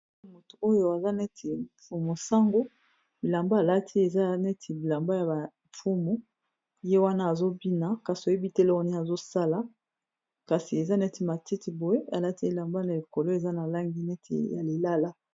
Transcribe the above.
Moto oyo aza neti mfumu sango, bilamba alati eza neti bilamba ya ba mfumu ye wana azo bina kasi oyebi te eloko nini azosala kasi eza neti matiti boye alati elamba na likolo eza na langi neti ya lilala